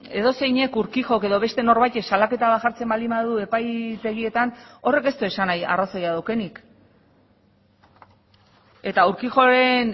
edozeinek urquijok edo beste norbaitek salaketa bat jartzen baldin badu epaitegietan horrek ez du esan nahi arrazoia daukanik eta urquijoren